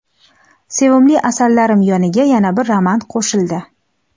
Sevimli asarlarim yoniga yana bir roman qo‘shildi.